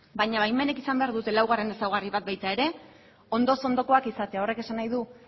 baina baimenek izan behar dute laugarren ezaugarri bat ere ondoz ondokoak izatea horrek esan nahi du